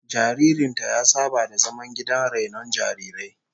Jaririn ta ya saba da zaman gidan rainon jarirai